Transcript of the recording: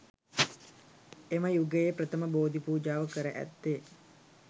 එම යුගයේ ප්‍රථම බෝධිපූජාව කර ඇත්තේ